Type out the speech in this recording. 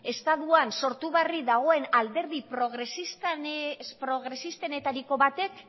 estatuan sortu berri den alderdi progresistenetariko batek